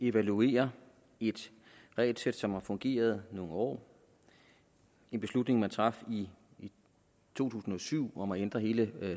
evaluere et regelsæt som har fungeret nogle år en beslutning man traf i to tusind og syv om at ændre hele